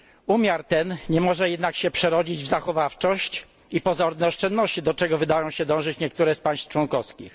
Umiar ten nie może jednak się przerodzić w zachowawczość i pozorne oszczędności, do czego wydają się dążyć niektóre z państw członkowskich.